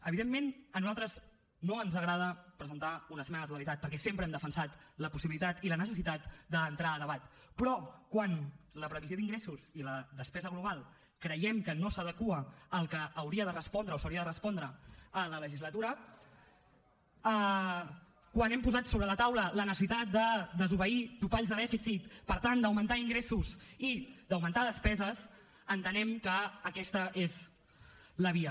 evidentment a nosaltres no ens agrada presentar una esmena a la totalitat perquè sempre hem defensat la possibilitat i la necessitat d’entrar a debat però quan la previsió d’ingressos i la despesa global creiem que no s’adequa al que hauria de respondre o s’hauria de respondre a la legislatura quan hem posat sobre la taula la necessitat de desobeir topalls de dèficit per tant d’augmentar ingressos i d’augmentar despeses entenem que aquesta és la via